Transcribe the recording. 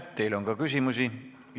Teile on ka küsimusi.